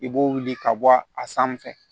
I b'o wuli ka bɔ a sanfɛ